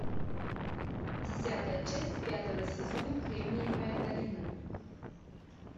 десятая часть пятого сезона кремниевая долина